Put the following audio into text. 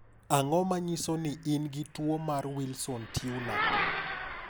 Ang'o ma nyiso ni in gi tuo mar Wilson Turner?